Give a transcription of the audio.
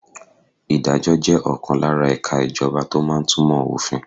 Ìdájọ́ jẹ́ ọ̀kan lára ẹ̀ka ìjọba tó máa ń túmọ̀ òfin.